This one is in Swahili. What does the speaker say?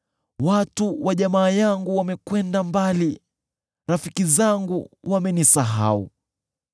Watu wa jamaa yangu wamekwenda mbali; rafiki zangu wamenisahau.